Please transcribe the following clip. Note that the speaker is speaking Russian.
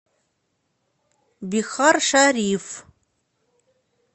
бихаршариф